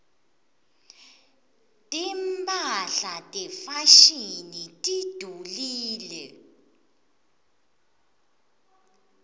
timphahla tefashini tidulile